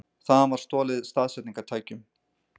Þaðan var stolið staðsetningartækjum